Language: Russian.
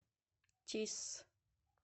тисс